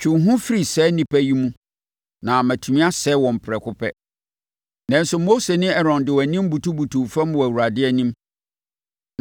“Twe wo ho firi saa nnipa yi mu na matumi asɛe wɔn prɛko pɛ.” Nanso, Mose ne Aaron de wɔn anim butubutuu fam wɔ Awurade anim.